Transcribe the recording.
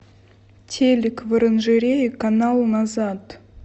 телик в оранжерее канал назад